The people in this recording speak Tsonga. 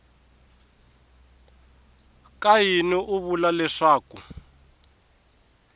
ka yini u vula leswaku